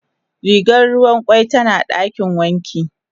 Rigar ruwan kwai tana dakin wanki.